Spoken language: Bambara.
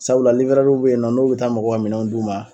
Sabula w be yen nɔ n'u be taa mɔgɔw ka minɛnw d'u ma